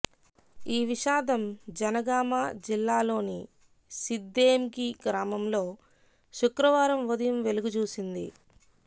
ఈ విషాదం జనగామ జిల్లాలోని సిద్దేంకి గ్రామంలో శుక్రవారం ఉదయం వెలుగు చూసింది